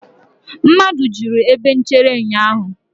mmadụ juru ebe nchere ụnyahụ